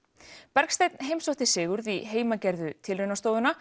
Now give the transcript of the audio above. Bergsteinn heimsótti Sigurð í heimagerðu